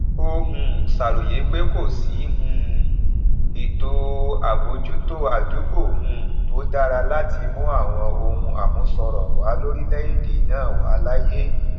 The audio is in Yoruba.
ó um ṣàròyé pé kò sí um ètò àbójútó àdúgbò um tó dára láti mú àwọn ohun àmúṣọrọ wà lórílẹèdè náà wà láàyè